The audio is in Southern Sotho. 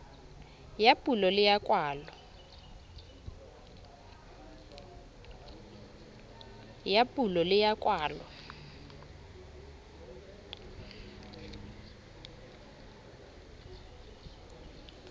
ya pulo le ya kwalo